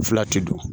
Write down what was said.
Fila ti don